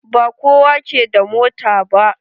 Ba kowa ke da mota ba.